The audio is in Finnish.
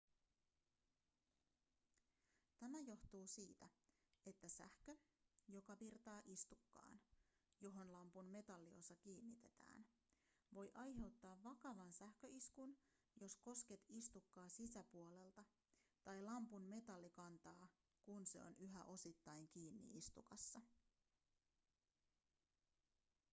tämä johtuu siitä että sähkö joka virtaa istukkaan johon lampun metalliosa kiinnitetään voi aiheuttaa vakavan sähköiskun jos kosket istukkaa sisäpuolelta tai lampun metallikantaa kun se on yhä osittain kiinni istukassa